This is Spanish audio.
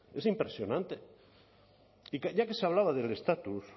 es impresionante y ya que se hablaba del estatus